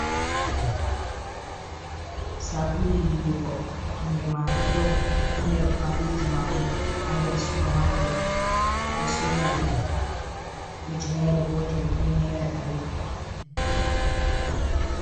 Sabulu yiwugo inde maga dof. Ɗo nder kwaliji majum ha nder suparmaket. Ɓe ɗo sorra ɗum ujinere gotel be nera ɗari.